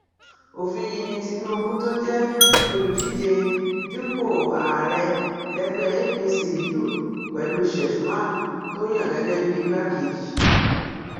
òfin yìí ni tinubu tó jẹ olùdíje dupò ààrẹ lẹgbẹ apc lù pẹlú sheffman tó yan gẹgẹ bíi igbákejì